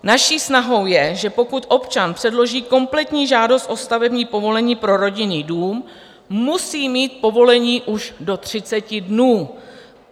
Naší snahou je, že pokud občan předloží kompletní žádost o stavební povolení pro rodinný dům, musí mít povolení už do 30 dnů.